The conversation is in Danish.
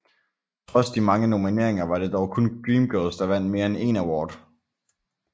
Trods de mange nomineringer var det dog kun Dreamgirls der vandt mere end én award